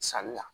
Sanni la